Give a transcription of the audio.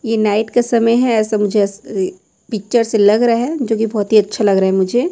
ये का समय है ऐसा मुझे एसा अस ई पिक्चर से लग रहा है जो की बहोत ही अच्छा लग रहे है मुझे।